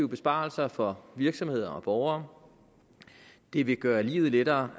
besparelser for virksomheder og borgere det vil gøre livet lettere